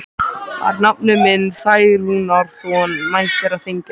Var nafni minn Særúnarson mættur á þinginu?